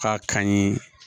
K'a kanɲi